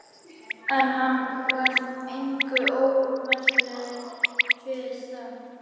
En hann varð engu ómerkilegri fyrir það.